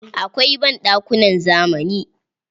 Akwai banɗakunan zamani.